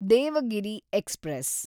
Devagiri express